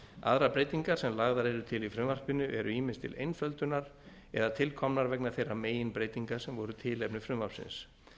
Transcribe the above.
aðrar breytingar sem lagðar eru til í frumvarpinu eru ýmist til einföldunar eða tilkomnar vegna þeirra meginbreytinga sem voru tilefni frumvarpsins